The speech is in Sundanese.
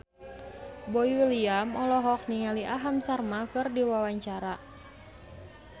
Boy William olohok ningali Aham Sharma keur diwawancara